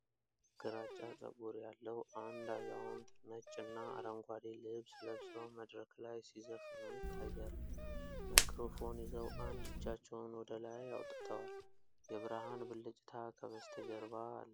ግራጫ ፀጉር ያለው አንድ አዛውንት ነጭና አረንጓዴ ልብስ ለብሰው መድረክ ላይ ሲዘፍኑ ይታያሉ። ማይክሮፎን ይዘው አንድ እጃቸውን ወደ ላይ አውጥተዋል። የብርሃን ብልጭታ ከበስተጀርባ አለ።